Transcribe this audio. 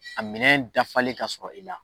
A minɛ dafalen ka sɔrɔ i la